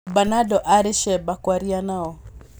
Bernardo arĩ cemba kwaria nao